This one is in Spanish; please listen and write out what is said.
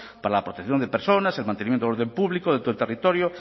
para la protección de personas el mantenimiento del orden público dentro del territorio